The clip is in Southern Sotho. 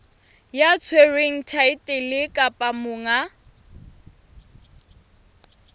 ya tshwereng thaetlele kapa monga